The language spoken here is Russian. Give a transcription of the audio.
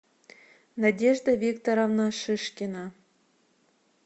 надежда викторовна шишкина